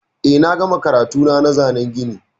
Eh, na gama karatuna na zanan gini.